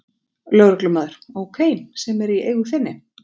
Lögreglumaður: Ókei, sem er í eigu þinni?